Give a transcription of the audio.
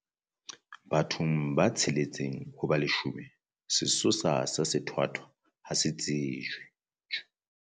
Bathong ba tsheletseng ho ba leshome sesosa sa sethwathwa ha se tsejwe.